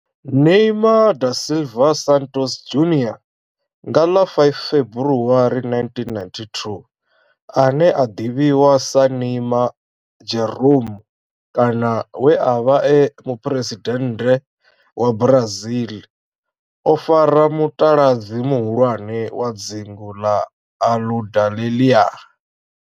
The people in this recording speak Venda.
Neymar da Silva Santos Junior nga ḽa 5 February 1992, ane a ḓivhiwa sa Neymar Jeromme kana we a vha e muphuresidennde wa Brazil o fara mutaladzi muhulwane wa dzingu na Aludalelia.